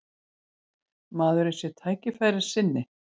Maðurinn sé tækifærissinni